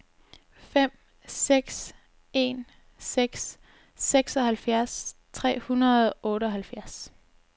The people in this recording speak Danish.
fem seks en seks seksoghalvfjerds tre hundrede og otteoghalvfjerds